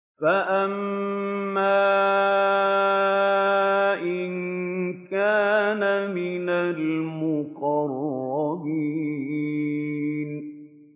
فَأَمَّا إِن كَانَ مِنَ الْمُقَرَّبِينَ